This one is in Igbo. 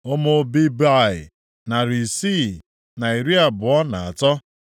Ụmụ Bebai, narị isii na iri abụọ na atọ (623).